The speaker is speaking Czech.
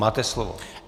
Máte slovo.